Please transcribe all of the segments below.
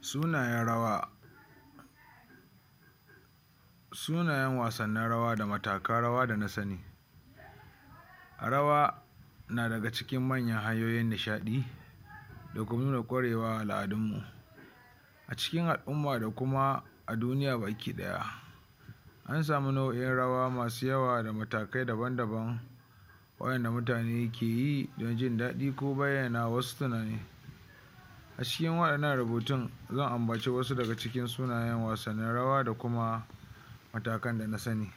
Sunayen rawa sunayen wasannin rawa da matakan rawa da na sani rawa na daga cikin manyan hanyoyin nishaɗin da nuna ƙwarewar al'adunmu a cikin al'umma da ma a duniya baki ɗaya ana samu nau'in rawa masu yawa da matakai daban-daban wa'inda mutane ke yi don jin daɗi ko bayyana wasu tunani a cikin wa'innan rubutun zan ambaci wasu daga cikin sunayen wasnnin rwa da kuma matakan da na sani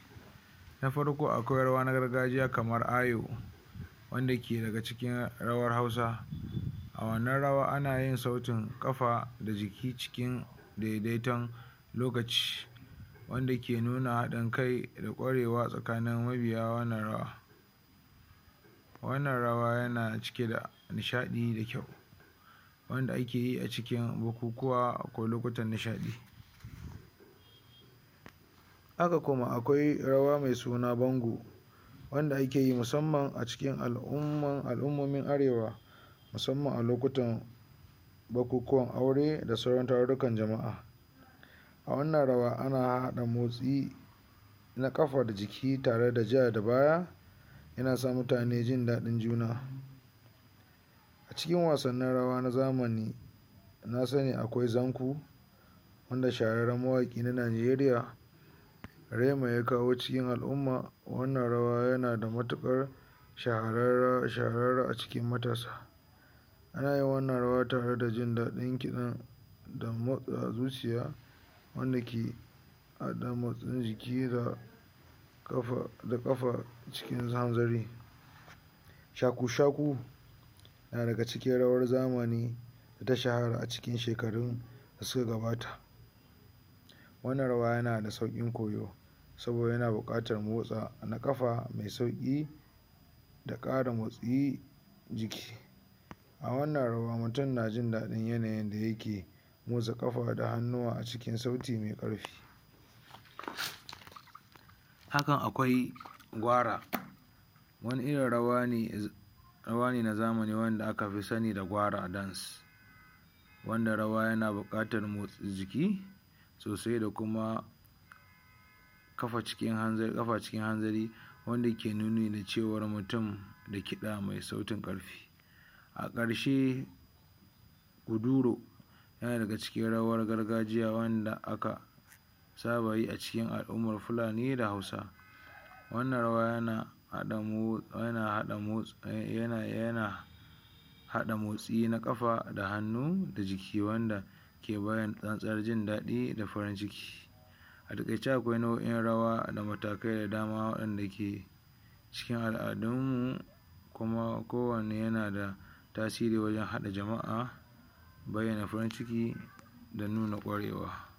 na farko a kwai rawa na gargajiya kamar Ayo wanda ke daga cikin rawar Hausa, a wannan rawar anayin sautin ƙafa da jiki cikin daidaiton lokacin wanda ke nuna haɗin kai da ƙwarewa tsakanin mabiya wannan rawar wannan rawa yana cike da nishaɗi da kyau wanda ake yi a cikin bukukuwa ko lokutan nishaɗi haka kuma akwai kuma rawa mai suna Bango, wanda ake yi musamman a cikin al'umman al'ummomin Arewa musamman a lokutan bukukuwan aure da sauran tarurruka jama'a. A wannan rawa na harhaɗa motsi na ƙafa da jiki tare da ja da baya yana sa mutane jin daɗin juna a cikin wasannin rawa na zamani na sani akwai zanku wanda shahararren mawaƙi na Najeriya Rema ya kawo cikin al'umma. Wannan rawa yana da matuƙar shahararra shahara a cikin mutane ana yin wannan rawa tare da jin daɗin kiɗa da motsawar zuciya wanda ke haɗa motsin jiki da ƙafa da ƙafa cikin hanzari shaku-shaku na daga cikin rawar zamani da ta shahara lokacin da ya gabata. wannan rawa yana da sauƙin koyo saboda yana buƙatar motsa na ƙafa da sauƙi da ƙarin motsin jiki. A wannan rawa mutum yana jin yanayin da yake motsa ƙafa da hannuwa a cikin sauti mai ƙarfi. hakan akwai Gwara wani irn rawa ne na zamani wanda aka fi sani da Gwara dance wanna rawa yana buƙatar motsa jiki sosai da kuma kafa ƙafa cikin hanzari wanda ke nuni da cewar mutum da ƙafa mai kiɗa mai sautin ƙarfi a ƙarshe uzuro yana daga cikin rawar gargajiya wanda aka saba yi a cikin al'ummar Fulani da Hausa wannan rawa yana haɗa motsi yana yana haɗa motsi na ƙafa da hannu da jiki wanda ke bayyana tsantsar jin daɗi da kuma farin ciki a taƙaice akwai nau'o'in rawa da matakai da dama waɗanda ke sa al'adu kuma kowane yana da tasiri wajen haɗa jama'a bayyana farin ciki da nuna ƙwarewa